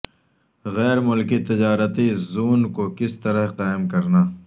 غیر ملکی تجارتی زون کو کس طرح قائم کرنا